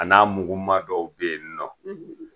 A n'a mugu ma dɔw be yen nɔ